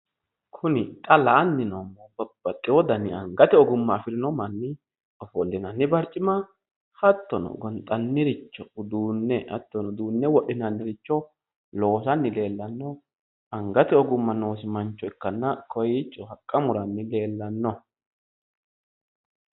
Kuni xa la"anni noommohu babbaxxeyo dani angate ogumma afirino manni ofollinanni barcima hattono, gonxanniricho uduunne hattono, uduunne wodhinanniricho loosanni leellanno angate ogimma noosi mancho ikkanna, kowiicho haqqa muranni leellanno.